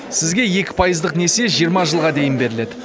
сізге екі пайыздық несие жиырма жылға дейін беріледі